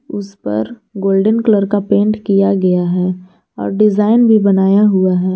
उस पर golden colour का पेंट किया गया है और डिजाइन भी बनाया हुआ है।